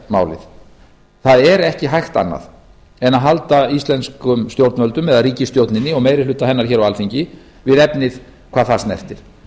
íraksmálið það er ekki hægt annað en að halda íslenskum stjórnvöldum eða ríkisstjórninni og meiri hluta hennar hér á alþingi við efnið hvað það snertir